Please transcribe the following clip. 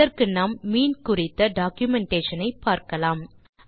இதற்கு நாம் மீன் குறித்த டாக்குமென்டேஷன் ஐ பார்க்கலாம்